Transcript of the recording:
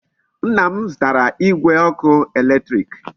Nna m zutara Igwe oku eletiriki